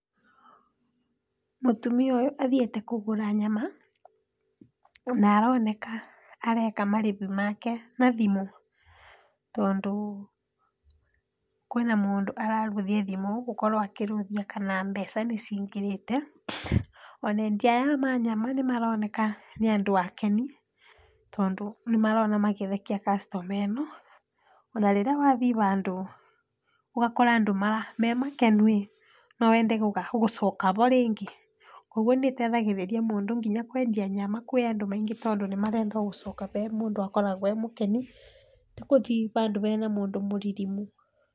Mũtumia ũyũ athiĩte kũgũra nyama, na aroneka areka marĩhi make na thimũ, tondũ kwĩna mũndũ ararora thimũ, gũkorwa akĩrũthia kana mbeca nĩcingĩrĩte, ona endia aya ma nyama nĩmaroneka nĩandũ akeni, tondũ nĩmarona makĩthekia customer ĩno, ona rĩrĩa wathii handũ ũgakora andũ mema kenu ĩ, no wende gũcoka hau rĩngĩ, koguo nĩtethagĩrĩria mũndũ nginya kwendia nyama kwĩ andũ, tondũ marenda gũcoka he mũndũ akoragwo e mũkeni, ti kũthiĩ handũ hena mũndũ mũririmu.